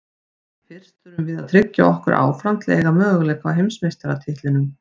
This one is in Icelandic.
Fyrst þurfum við að tryggja okkur áfram til að eiga möguleika á heimsmeistaratitlinum.